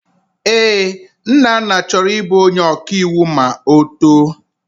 Ee, Nnanna chọrọ ịbụ onye ọkaiwu ma ọ too.